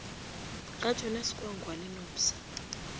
ga jonas gwangwa le nomsa